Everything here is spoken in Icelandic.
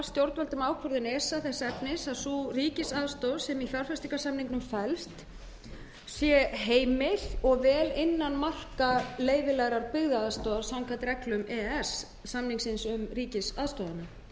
stjórnvöldum ákvörðun esa þess efnis að sú ríkisaðstoð sem í fjárfestingarsamningnum felst sé heimil og vel innan marka leyfilegrar byggðaaðstoðar samkvæmt reglum e e s samningsins